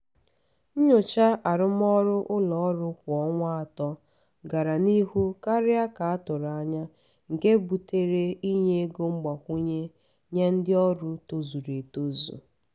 nnyocha arụmọrụ ụlọ ọrụ kwa ọnwa atọ gara n’ihu karịa ka atụrụ anya nke butere inye ego mgbakwunye nye ndị ọrụ tozuru etozu.